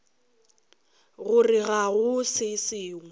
gore ga go se sengwe